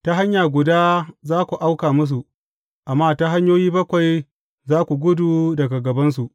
Ta hanya guda za ku auka musu, amma ta hanyoyi bakwai za ku gudu daga gabansu.